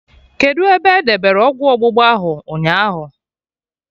Kedụ ebe edebere ọgwụ ọgbụgba ahụ ụnyaahụ?